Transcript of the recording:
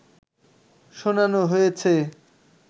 শোনানো হয়েছে